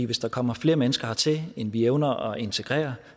hvis der kommer flere mennesker hertil end vi evner at integrere